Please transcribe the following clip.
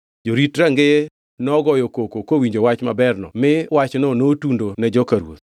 Jorit rangeye nogoyo koko kowinjo wach maberno mi wachno notundo ne joka ruoth.